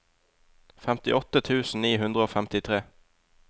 femtiåtte tusen ni hundre og femtitre